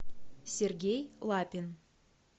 сергей лапин